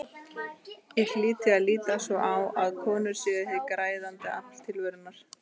Ég hlýt því að líta svo á að konur séu hið græðandi afl tilverunnar.